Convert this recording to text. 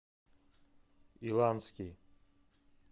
иланский